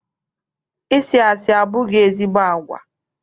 Ịsị asị abụghị ezigbo agwa.